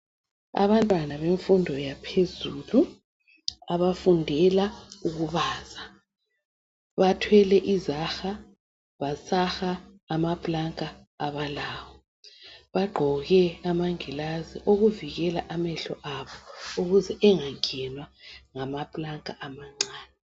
Abantwana bemfundo yaphezulu abafundela ukubaza bathwele izaha basaha amaplanka abalawo. Bagqoke amangilazi okuvikela amehlo abo ukuze angangenwa ngamaplanka amancane